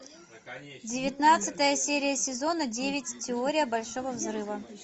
девятнадцатая серия сезона девять теория большого взрыва